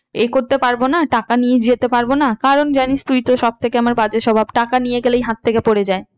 এ করতে পারবো না টাকা নিয়ে যেতে পারবো না কারণ জানিস তুই তো সব থেকে আমার বাজে স্বভাব টাকা নিয়ে গেলেই হাত থেকে পরে যায়।